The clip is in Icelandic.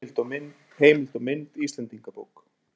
Heimild og mynd Íslendingabók.